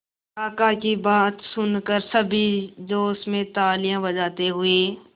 काका की बात सुनकर सभी जोश में तालियां बजाते हुए